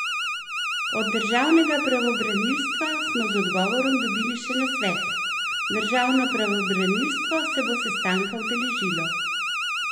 Od državnega pravobranilstva smo z odgovorom dobili še nasvet: "Državno pravobranilstvo se bo sestanka udeležilo.